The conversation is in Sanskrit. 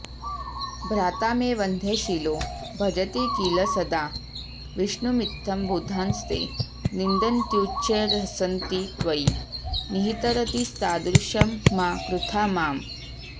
भ्राता मे वन्ध्यशीलो भजति किल सदा विष्णुमित्थं बुधांस्ते निन्दन्त्युच्चैर्हसन्ति त्वयि निहितरतींस्तादृशं मा कृथा माम्